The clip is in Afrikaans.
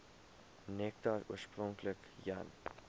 nektar oorspronklik jan